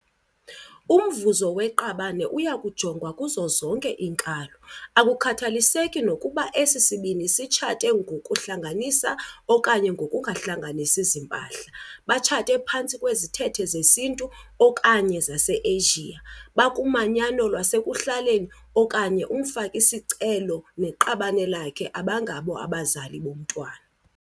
Umvuzo weqabane uya kujongwa kuzo zonke iinkalo - akukhathaliseki nokuba esi sibini sitshate ngokokuhlanganisa okanye ngokungahlanganisi ziimpahla, batshate phantsi kwezithethe zesiNtu okanye zase-Asia, bakumanyano lwasekuhlaleni okanye ukuba umfaki-sicelo neqabane lakhe abangabo abazali bomntwana.